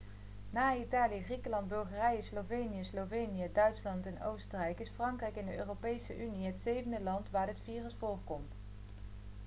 na italië griekenland bulgarije slovenië slovenië duitsland en oostenrijk is frankrijk in de europese unie het zevende land waar dit virus voorkomt